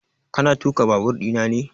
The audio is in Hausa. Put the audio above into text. Ka na tuƙa babur ina ne?